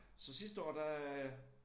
Så sidste år der øh